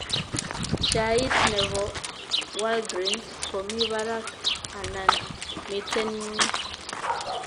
Sheait ne po walgreens komi barak anan miten n'gweny